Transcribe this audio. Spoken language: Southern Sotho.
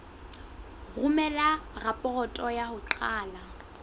romela raporoto ya ho qala